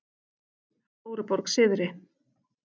Stóruborg syðri